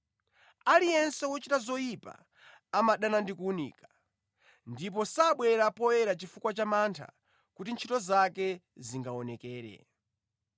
Aliyense wochita zoyipa amadana ndi kuwunika, ndipo sabwera poyera chifukwa cha mantha kuti ntchito zake zingaonekere.